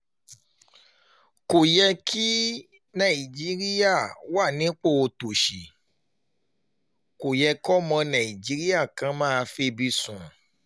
kò yẹ kí nàìjíríà wà nípò òtòṣì kó yẹ kọ́mọ nàìjíríà kan máa febi sùn